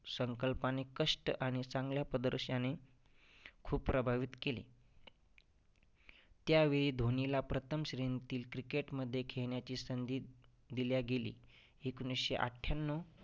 संकल्पाने कष्ट आणि चांगल्या प्रदर्शाने खूप प्रभावित केले. त्यावेळी धोनीला प्रथम श्रेणीतील cricket मध्ये खेळण्याची संधी दिल्या गेली. एकोणीसशे अठ्ठ्याण्णव